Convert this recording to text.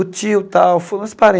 O tio e tal foi uns